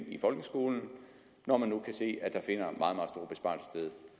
i folkeskolen når man nu kan se